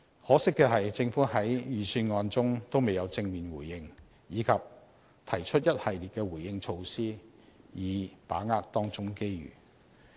可惜的是，政府在預算案中未有正面回應，以及提出一系列的回應措施以把握當中機遇。